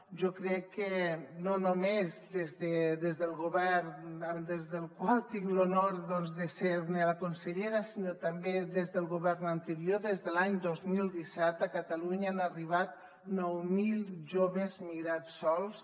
jo crec que no només des del govern des del qual tinc l’honor de ser ne la consellera sinó també des del govern anterior des de l’any dos mil disset a catalunya han arribat nou mil joves migrats sols